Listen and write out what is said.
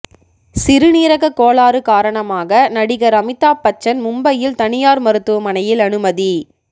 சிறுநீரக கோளாறு காரணமாக நடிகர் அமிதாப் பச்சன் மும்பையில் தனியார் மருத்துவமனையில் அனுமதி